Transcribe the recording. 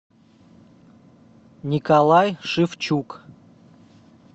николай шевчук